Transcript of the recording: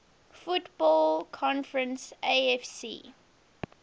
football conference afc